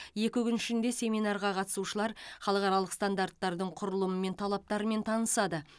екі күн ішінде семинарға қатысушылар халықаралық стандарттың құрылымы мен талаптарымен танысады